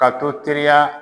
Ka dɔ teliya